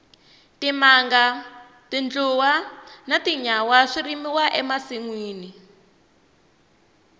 timanga tindluwa na tinyawa swi rimiwa e masinwini